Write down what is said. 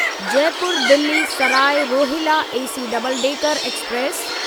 Jaipur Delhi Sarai Rohilla AC double decker express